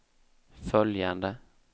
följande